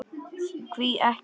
Hví ekki?